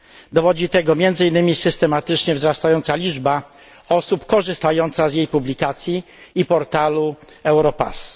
Dowodzi tego między innymi systematycznie wzrastająca liczba osób korzystających z jej publikacji i portalu Europass.